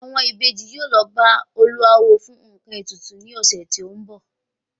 Àwọn Ìbejì yóò lọ bá olúawo fún nkan ètùtù ni ọ̀sẹ̀ tó ń bọ̀